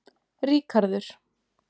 Ríkarður